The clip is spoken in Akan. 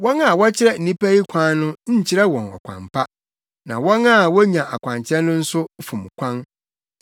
Wɔn a wɔkyerɛ nnipa yi kwan no, nkyerɛ wɔn ɔkwan pa, na wɔn a wonya akwankyerɛ no nso, fom kwan.